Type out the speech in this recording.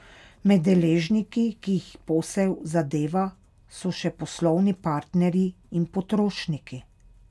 Med deležniki, ki jih posel zadeva, so še poslovni partnerji in potrošniki.